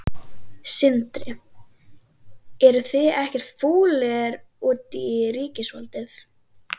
Sindri: Eruð þið ekkert fúlir út í ríkisvaldið?